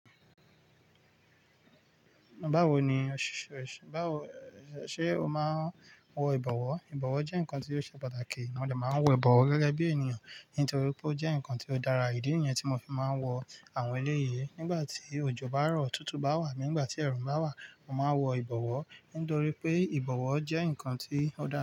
Báwo ni-- ṣe o máa ń wọ ìbọ̀wọ́? Ìbọ̀wọ́ jẹ́ nǹkan tí ó ṣe pàtàkì, mo dè máa ń wọ ìbọ̀wọ́ gẹ́gẹ́ bí ènìyàn, nítorí pé ó jẹ́ nǹkan tí ó dára ìdí niyẹn tí mo fi máa ń wọ àwọn eléyi. Nígbà tí òjò bá rọ, tútù bá wà, nígbà tí ẹ̀rù ń bá wà, mo máa ń wọ ìbọ̀wọ́, nítorí pé ìbọ̀wọ́ jẹ́ nǹkan tí ó dára.